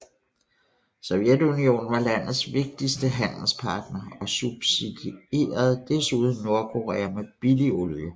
Sovjetunionen var landets vigtigste handelspartner og subsidierede desuden Nordkorea med billig olie